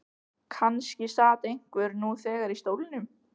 Kannski sat einhver nú þegar í stólnum.